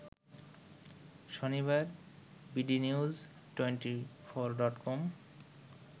শনিবার B D news twenty four dot com